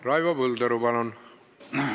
Raivo Põldaru, palun!